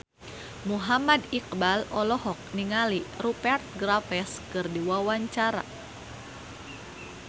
Muhammad Iqbal olohok ningali Rupert Graves keur diwawancara